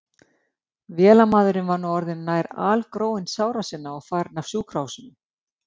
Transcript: Vélamaðurinn var nú orðinn nær algróinn sára sinna og farinn af sjúkrahúsinu.